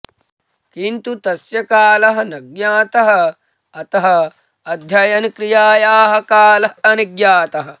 किन्तु तस्य कालः न ज्ञातः अतः अध्ययन क्रियायाः कालः अनिज्ञातः